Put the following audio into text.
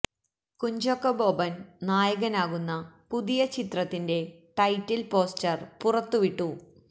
കുഞ്ചാക്കോ ബോബൻ നായകനാകുന്ന പുതിയ ചിത്രത്തിന്റെ ടൈറ്റിൽ പോസ്റ്റർ പുറത്ത് വിട്ടു